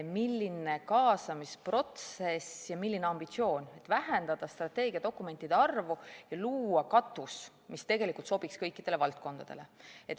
Milline kaasamisprotsess ja milline ambitsioon, et vähendada strateegiadokumentide arvu ja luua katus, mis sobiks kõikidele valdkondadele!